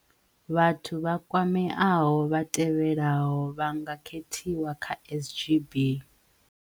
Vhathu vha kwameaho vha tevhelaho vha nga khethiwa kha SGB.